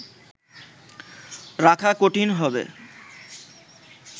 রাখা কঠিন হবে